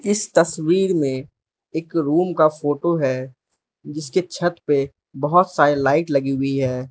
इस तस्वीर में एक रूम का फोटो है जिसके छत पे बहोत सारे लाइट लगी हुई है।